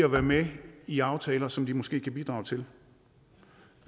at være med i aftaler som de måske kan bidrage til